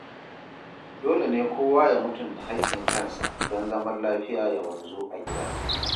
Dole ne kowa ya mutunta hakkin kansa don zaman lafiya ya wanzu a gida.